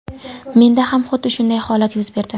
Menda ham xuddi shunday holat yuz berdi.